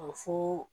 Fo